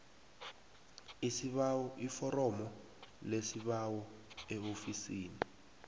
iforomo lesibawo eofisini